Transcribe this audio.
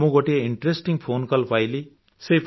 ମୁଁ ଗୋଟିଏ interesting phone call ପାଇଲି